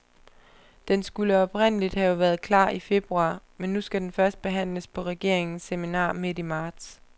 Den skulle oprindeligt have været klar i februar, men nu skal den først behandles på regeringens seminar midt i marts.